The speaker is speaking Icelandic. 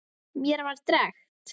Mér var drekkt.